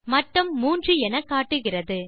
மட்டம் 3 எனக்காட்டுகிறது